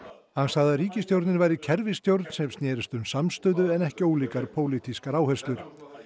hann sagði að ríkisstjórnin væri kerfisstjórn sem snerist um samstöðu en ekki ólíkar pólitískar áherslur